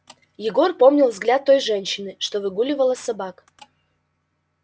егор помнил взгляд той женщины что выгуливала собак